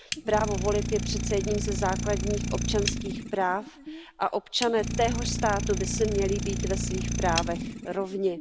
Právo volit je přeci jedním ze základních občanských práv a občané téhož státu by si měli být ve svých právech rovni.